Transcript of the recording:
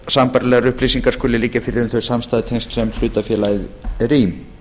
sambærilegar upplýsingar skuli liggja fyrir um þau samstæðutengsl sem hlutafélagið er í